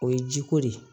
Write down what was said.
O ye jiko de ye